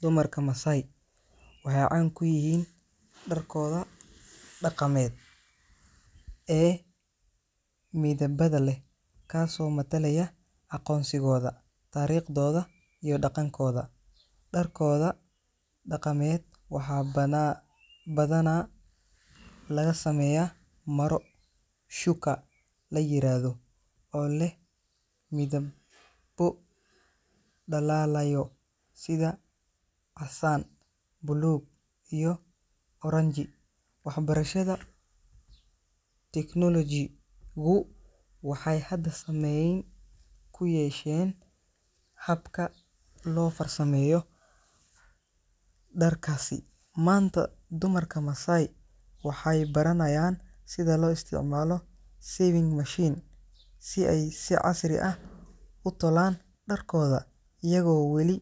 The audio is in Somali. Dumarka Masai waxay caan ku yihiin dharkooda dhaqameed ee midabada leh, kaasoo matalaya aqoonsigooda, taariikhdooda iyo dhaqankooda. Dharkooda dhaqameed waxaa badanaa laga sameeyaa maro shuka la yiraahdo, oo leh midabbo dhalaalaya sida casaan, buluug iyo oranji. Waxbarashada iyo technology-gu waxay hadda saameyn ku yeesheen habka loo farsameeyo dharkaasi. Maanta, dumarka Masai waxay baranayaan sida loo isticmaalo sewing machines si ay si casri ah u tolaan dharkooda, iyagoo weli